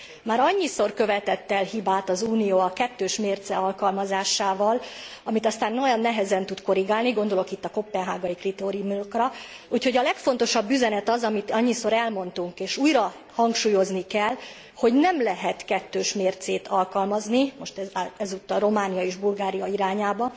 Már annyiszor követett el hibát az Unió a kettős mérce alkalmazásával, amit aztán nagyon nehezen tud korrigálni, gondolok itt a koppenhágai kritériumokra. Úgyhogy a legfontosabb üzenet az, amit annyiszor elmondtunk és újra hangsúlyozni kell, hogy nem lehet kettős mércét alkalmazni most ezúttal Romániával és Bulgáriával szemben.